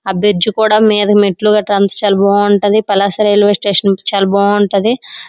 ఆ బ్రిడ్జి కూడా మీద మెట్లుగా ట్రాన్స్ఫర్ బాగుంటుంది. పలాస రైల్వే స్టేషన్ చాలా బాగుంటది.